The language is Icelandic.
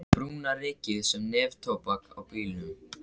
Brúna rykið sem neftóbak á bílnum.